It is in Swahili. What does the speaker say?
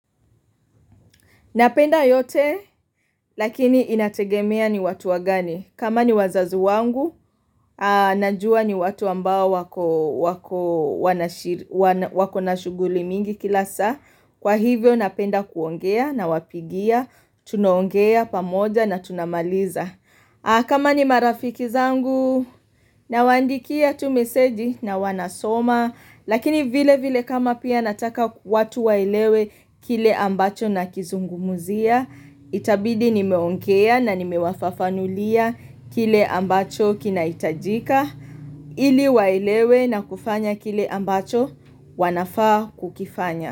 Napenda yote, lakini inategemea ni watu wagani. Kama ni wazazi wangu, najuwa ni watu ambao wako wako na shughuli mingi kila saa. Kwa hivyo napenda kuongea nawapigia, tunaongea pamoja na tunamaliza. Kama ni marafiki zangu nawaandikia tu meseji na wanasoma Lakini vile vile kama pia nataka watu waelewe kile ambacho nakizungumuzia Itabidi nimeongea na nimewafafanulia kile ambacho kinahitajika ili waelewe na kufanya kile ambacho wanafaa kukifanya.